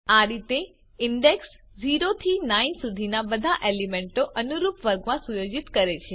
આ રીતે ઇન્ડેક્સ 0 થી 9 સુધીના બધા એલીમેન્ટો અનુરૂપ વર્ગમાં સુયોજિત છે